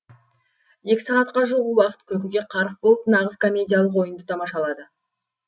екі сағатқа жуық уақыт күлкіге қарық болып нағыз комедиялық ойынды тамашалады